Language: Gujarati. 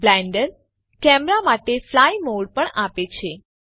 બ્લેન્ડર કેમેરા માટે ફ્લાય મોડ પણ આપે છે